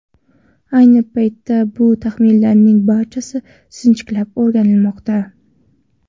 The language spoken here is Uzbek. Ayni paytda bu taxminlarning barchasi sinchiklab o‘rganilmoqda.